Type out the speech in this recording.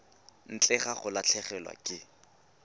ntle ga go latlhegelwa ke